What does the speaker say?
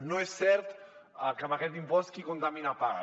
no és cert que amb aquest impost qui contamina paga